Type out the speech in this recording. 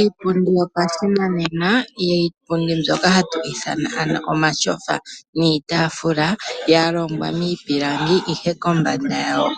Iipundi yopashinanena, iipundi mbyoka hatu ithana omatyofa niitafula yalongwa miipilangi ihe kombada yawo